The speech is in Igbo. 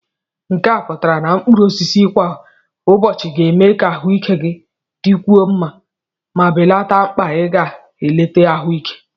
nke a pụtara na mkpụrụ osisi kwa ụbọchị ga-eme ka ahụike gị dịkwuo mma ma belata mkpa ịga leta ahụike